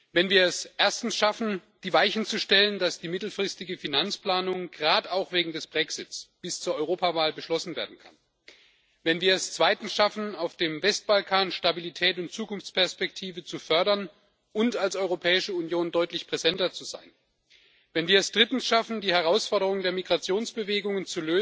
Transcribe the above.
Wenn wir es erstens schaffen, die Weichen zu stellen, dass die mittelfristige Finanzplanung gerade auch wegen des Brexits bis zur Europawahl beschlossen werden kann, wenn wir es zweitens schaffen, auf dem Westbalkan Stabilität und Zukunftsperspektive zu fördern und als Europäische Union deutlich präsenter zu sein, wenn wir es drittens schaffen, die Herausforderung der Migrationsbewegungen